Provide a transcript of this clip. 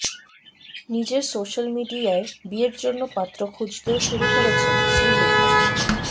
নিজের সোশ্যাল মিডিয়ায় বিয়ের জন্য পাত্র খুঁজতেও শুরু করেছেন শ্রীলেখা